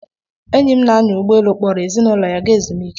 Enyi m na-anya ụgbọelu kpọrọ ezinụlọ ya ga ezumike.